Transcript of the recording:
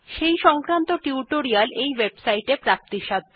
সেই সংক্রান্ত মৌখিক টিউটোরিয়াল এই ওয়েবসাইট টিতে প্রাপ্তিসাধ্য